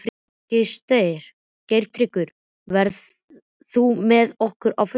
Geirtryggur, ferð þú með okkur á föstudaginn?